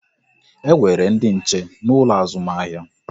E nwere ndị nche n'ụlọ azụmahịa